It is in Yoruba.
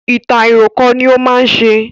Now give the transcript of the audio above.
Ìtàn àìròkọ ní ó má ń ṣe